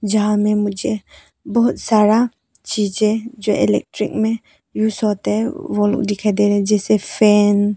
जहां में मुझे बहोत सारा चीजे जो इलेक्ट्रिक में यूज़ होते है वो दिखाई दे रहे हैं जैसे फैन --